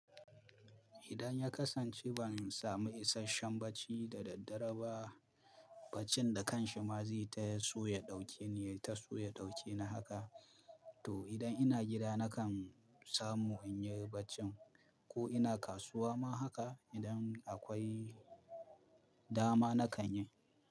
Idan ya kasance ban samu isasshen bacci da daddare ba, baccin da kanshi ma zai ta so ya ɗauke ni, ya ta so ya ɗauke ni haka. To idan ina gida nakan samu inyi bacci ko ina kasuwa ma haka idan akwai dama nakan yi.